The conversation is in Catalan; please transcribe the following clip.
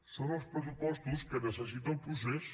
són els pressupostos que necessita el procés